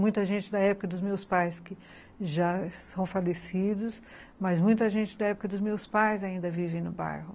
Muita gente da época dos meus pais que já são falecidos, mas muita gente da época dos meus pais ainda vive no bairro.